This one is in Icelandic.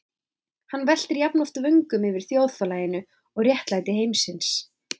Hann veltir jafnoft vöngum yfir þjóðfélaginu og réttlæti heimsins.